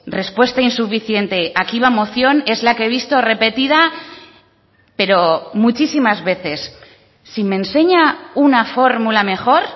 respuesta insuficiente aquí va moción es la que he visto repetida pero muchísimas veces si me enseña una fórmula mejor